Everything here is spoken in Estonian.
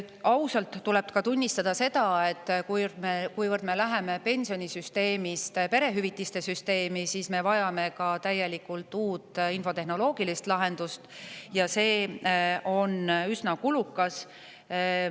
Ausalt tuleb tunnistada ka seda, et kuivõrd me läheme pensionisüsteemist üle perehüvitiste süsteemi, siis me vajame täielikult uut infotehnoloogilist lahendust, aga see on üsna kulukas.